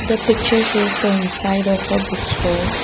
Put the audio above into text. the pictures shows the inside of a book store.